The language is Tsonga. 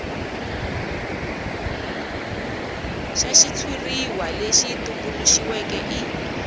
xa xitshuriwa lexi tumbuluxiweke i